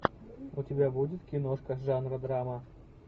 у тебя будет киношка жанра драма